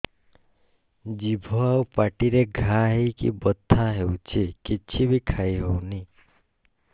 ଜିଭ ଆଉ ପାଟିରେ ଘା ହେଇକି ବଥା ହେଉଛି କିଛି ବି ଖାଇହଉନି